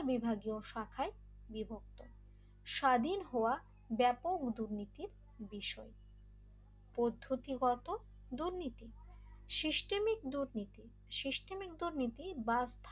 বিভাগীয় শাখায় বিভক্ত স্বাধীন হওয়া ব্যাপক দুর্নীতির বিষয় পদ্ধতিগত দুর্নীতি সিস্টেমিক দুর্নীতি সিস্টেমিক দুর্নীতি বা